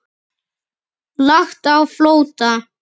Lagt á flótta